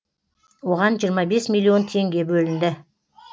оған жиырма бес миллион теңге бөлінді